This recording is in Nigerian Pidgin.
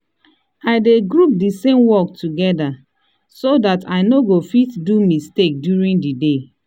i dey group d same work together so dat i no go fit do mistake during the day